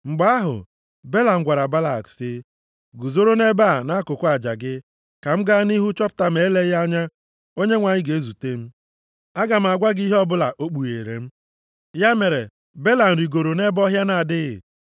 Mgbe ahụ, Belam gwara Balak sị, “Guzoro nʼebe a nʼakụkụ aja gị ka m gaa nʼihu chọpụta ma eleghị anya Onyenwe anyị ga-ezute m. Aga m agwa gị ihe ọbụla o kpughere m.” Ya mere, Belam rigooro nʼebe ọhịa na-adịghị.